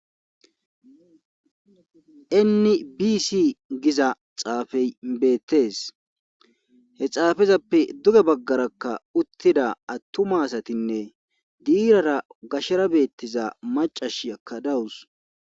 enni bisi giza xaafey beettes he xaafezappe duge baggarakka uttida attuma asatinne diirara gashshara beettiza macash yakkadawus